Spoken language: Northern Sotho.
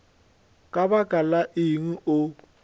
ka lebaka la eng o